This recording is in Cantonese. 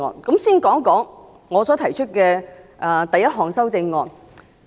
首先說一說我所提出的第一項修正案。